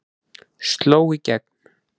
Sló í gegn